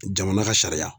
Jamana ka sariya